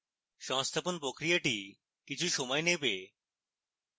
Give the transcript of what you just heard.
সংস্থাপন প্রক্রিয়াটি কিছু সময় নেবে